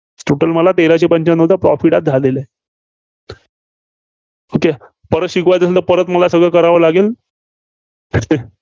total मला तेराशे रुपये पंच्यानवचा Profit आज झालेला आहे. okay परत शिकावायचं असेल तर परत मला सगळं करावं लागेल.